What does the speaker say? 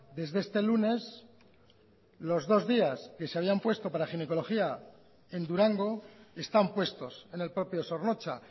desde este lunes los dos días que se habían puesto para ginecología en durango están puestos en el propio zornotza